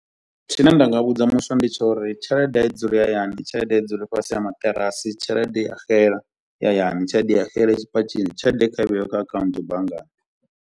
Tshine nda nga vhudza muswa ndi tsha uri tshelede i dzule ya hayani, tshelede ai dzule fhasi a maṱirasi, tshelede i a xela i hayani, tshelede i xele i tshipatshini, tshelede kha i vheiwe kha account banngani.